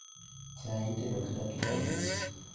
Chai itedo gi dakika abich